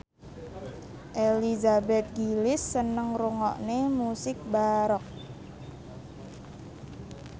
Elizabeth Gillies seneng ngrungokne musik baroque